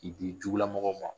I di jugulamɔgɔw ma